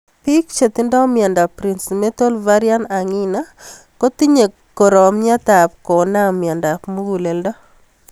Piik che tinye miondop Prinzmetals' variant angina kotinye koromiet ab konam miondop mugúleldo